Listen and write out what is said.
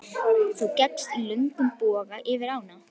Þú gekkst í löngum boga yfir ána.